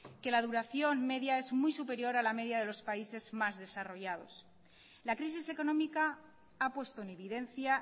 que la duración media es muy superior a la media de los países más desarrollados la crisis económica ha puesto en evidencia